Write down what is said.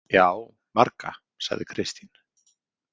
Já, marga, sagði Kristín.